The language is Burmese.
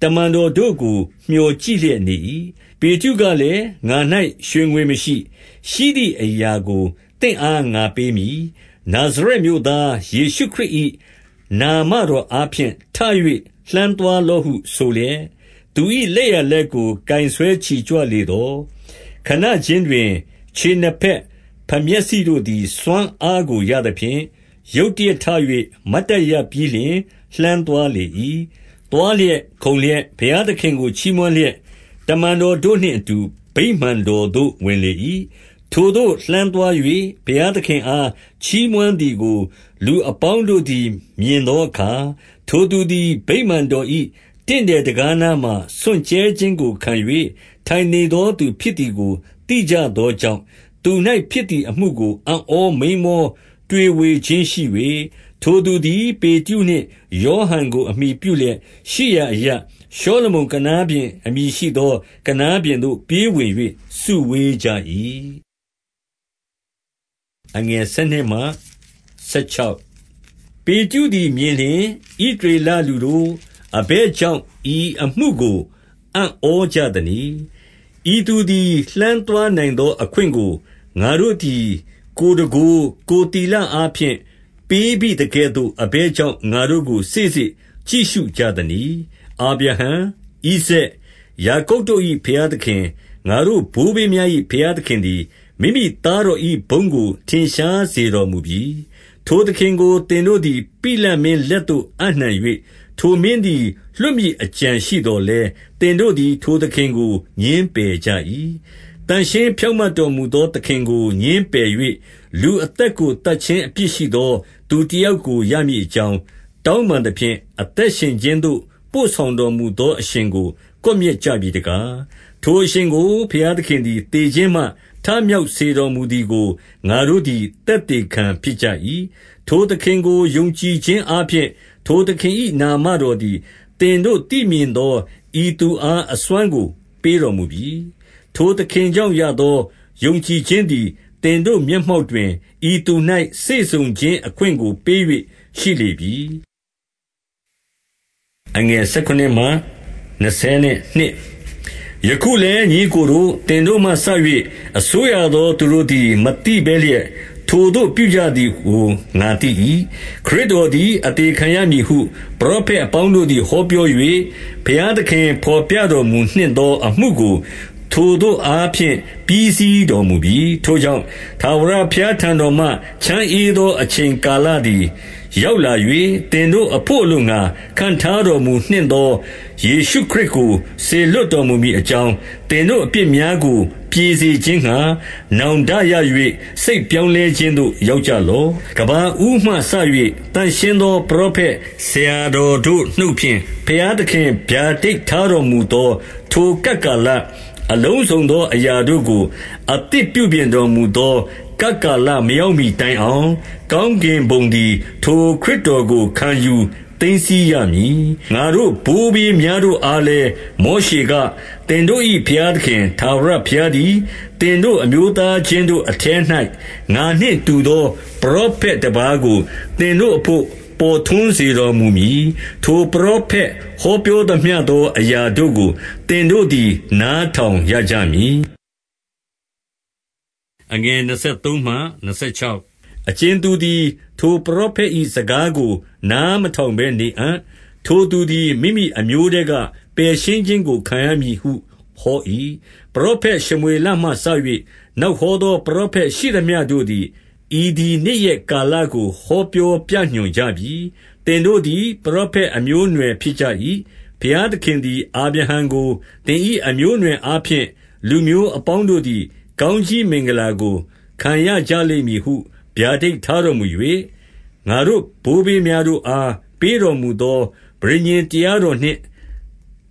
တမန်တော်တို့ကိုမျှော်ကြည့်လျက်နေ၏။ 6 ပေတရုကလည်း၊ ငါ၌ရွှေငွေမရှိ။ ရှိသည်အရာကိုသင့်အားငါပေးမည်။ နာဇရက်မြို့သား ယေရှုခရစ်၏ နာမတော်အားဖြင့်ထ၍ လှမ်းသွားလော့ဟုဆိုလျက်၊ 7 သူ၏လက်ျာလက်ကို ကိုင်ဆွဲချီကြွလေသော ခဏခြင်းတွင်၊ ခြေနှစ်ဘက်ဖမျက်စိတို့သည် စွမ်းအားကို ရသဖြင့်၊ 8 ရုတ်တရက်ထ၍ မတ်တပ်ရပ်ပြီးလျှင် လှမ်းသွားလေ၏။ သွားလျက်၊ ခုန်လျက်၊ ဘုရားသခင်ကို ချီးမွမ်းလျက်၊ တမန်တော်တို့နှင့်အတူ ဗိမာန်တော်သို့ဝင်လေ၏။ 9 ထိုသို့လှမ်းသွား၍ ဘုရားသခင်အား ချီးမွမ်းသည်ကို လူအပေါင်းတို့သည် မြင်သောအခါ၊ 10 ထိုသူသည် ဗိမာန်တော်၏တင့်တယ်တံခါးနားမှာ စွန့်ကြဲခြင်းကိုခံ၍ ထိုင်နေသောသူဖြစ်သည်ကို သိကြသောကြောင့်၊ သူ၌ဖြစ်သည် အမှုကိုအံ့ဩမိန်းမောတွေဝေခြင်းရှိ၍၊ 11 ထိုသူသည် ပေတရုနှင့် ယောဟန်ကို အမှီပြုလျက်ရှိရာအရပ်၊ ရှောလမုန်ကနားပြင်အမည်ရှိသော ကနားပြင်သို့ပြေးဝင်၍ စုဝေးကြ၏။ 12 ပေတရုသည် မြင်လျှင်၊ ဣသရေလလူတို့ အဘယ်ကြောင့် ဤအမှုကို အံ့ဩကြသနည်း။ ဤသူသည် လှမ်းသွားနိုင်သောအခွင့်ကို ငါတို့သည်ကိုယ်တန်ခိုး၊ ကိုယ်သီလအားဖြင့်ပေးဘိသကဲ့သို့ အဘယ်ကြောင့် ငါတို့ကို စေ့စေ့ကြည့်ရှုကြသနည်း။ 13 အာဗြဟံ၊ ဣဇာတ်၊ ယာကုပ်တို့၏ဘုရားသခင်၊ ငါတို့ဘိုးဘေးများ၏ ဘုရားသခင်သည် မိမိ သားတော်၏ ဘုန်းကိုထင်ရှားစေတော်မူပြီ။ ထိုသခင်ကို သင်တို့သည် ပိလတ်မင်းလက်သို့အပ်နှံ၍၊ ထိုမင်းသည် လွှတ်မည်အကြံရှိသော်လည်း သင်တို့သည် ထိုသခင်ကိုငြင်းပယ်ကြ၏။ 14 သန့်ရှင်းဖြောင့်မတ်တော်မူသော သခင်ကိုငြင်းပယ်၍၊ လူအသက်ကို သတ်ခြင်း၊ အပြစ်ရှိသောသူ တယောက်ကို ရမည်အကြောင်း တောင်းပန်သဖြင့်၊ 15 အသက်ရှင်ခြင်းသို့ ပို့ဆောင်တော်မူသောအရှင်ကို ကွပ်မျက်ကြပြီတကား၊ ထိုအရှင်ကို ဘုရားသခင် သည် သေခြင်းမှထမြောက်စေတော်မူသည်ကို ငါတို့သည် သက်သေခံဖြစ်ကြ၏။ 16 ထိုသခင်ကို ယုံကြည်ခြင်းအားဖြင့် ထိုသခင်၏နာမတော်သည် သင်တို့သိမြင်သော ဤသူအား အစွမ်း ကို ပေးတော်မူပြီ။ ထိုသခင်ကြောင့်ရသော ယုံကြည်ခြင်းသည် သင်တို့မျက်မှောက်တွင် ဤသူ၌စေ့စုံခြင်း အခွင့်ကိုပေး၍ရှိလေပြီ။ 17 ယခုလည်း ညီအစ်ကိုတို့၊ သင်တို့မှစ၍ အစိုးရသောသူတို့သည် မသိဘဲလျက် ထိုသို့ပြုကြသည်ကို ငါသိ၏။ 18 ခရစ်တော်သည် အသေခံရမည်ဟု ပရောဖက်အပေါင်းတို့သည် ဟောပြော၍၊ ဘုရားသခင်ဘော်ပြ တော်မူနှင့်သောအမှုကို ထိုသို့အားဖြင့် ပြီးစီးတော်မူပြီ။ 19 ထိုကြောင့်ထာဝရဘုရားထံတော်မှ ချမ်းဧသောအချိန်ကာလသည် ရောက်လာ၍၊ 20 သင်တို့အဘို့အလိုငှါ ခန့်ထားတော်မူနှင့်သော ယေရှုခရစ်ကို စေလွှတ်တော်မူမည်အကြောင်း၊ သင်တို့ အပြစ်များကို ပြေစေခြင်းငှါ နောင်တရ၍ စိတ်ပြောင်းလဲခြင်းသို့ ရောက်ကြလော့။ 21 ကမ္ဘာဦးမှစ၍ သန့်ရှင်းသောပရောဖက်ဆရာတော်တို့နှုတ်ဖြင့် ဘုရားသခင်ဗျာဒိတ်ထားတော်မူသော ထိုကပ်ကာလ၊ အလုံးစုံသောအရာတို့ကို အသစ်ပြုပြင်တော်မူသော ကပ်ကာလမရောက်မှီတိုင်အောင် ကောင်း ကင်ဘုံသည် ထိုခရစ်တော်ကို ခံယူသိမ်းဆည်းရမည်။ 22 ငါတို့ဘိုးဘေးများတို့အားလည်း မောရှေက၊ သင်တို့၏ဘုရားသခင် ထာဝရဘုရားသည်၊ သင်တို့ အမျိုးသားချင်းတို့အထဲ၌ ငါနှင့်တူသော ပရောဖက်တပါးကို သင်တို့အဘို့ပေါ်ထွန်းတော်မူမည်။ ထိုပရောဖက် ဟောပြောသောအရာတို့ကို သင်တို့သည် နားထောင်ရကြမည်။ 23 အကြင်သူသည် ထိုပရောဖက်၏စကားကိုနားမထောင်ဘဲနေအံ့၊ ထိုသူသည် မိမိအမျိုးထဲက ပယ်ရှင်း ခြင်းကို ခံရမည်ဟုဟော၏။ 24 ပရောဖက်ရှမွေလမှစ၍ နောက်ဟောသော ပရောဖက်ရှိသမျှတို့သည် ဤသည်နေ့ရက်ကာလကို ဟောပြောညွှန်ကြပြီ။ 25 သင်တို့သည် ပရောဖက်အမျိုးအနွယ်ဖြစ်ကြ၏။ ဘုရားသခင်သည် အာဗြဟံကို၊ သင်၏ အမျိုးအနွယ် အားဖြင့် လူမျိုးအပေါင်းတို့သည် ကောင်းကြီးမင်္ဂလာကို ခံရကြလိမ့်မည်ဟု ဗျာဒိတ်ထားတော်မူ၍၊ ငါတို့ ဘိုးဘေးများတို့အား ပေးတော်မူသော ပဋိညာဉ်တရားတော်နှင့်